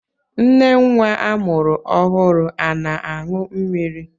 Nne nwa amụrụ ọhụrụ ana-aṅụ mmiri?